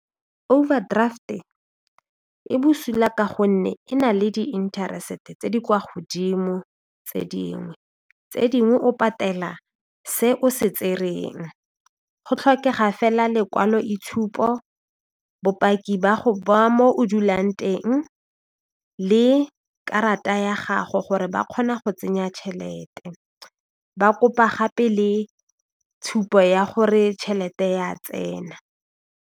Overdraft e e bosula ka gonne e na le di interest tse di kwa godimo tse dingwe, tse dingwe o patela se o se tsereng go tlhokega fela lekwalo-itshupo, bopaki ba mo o dulang teng, le karata ya gago gore ba kgona go tsenya tšhelete, ba kopa gape le tshupo ya gore tšhelete ya tsena.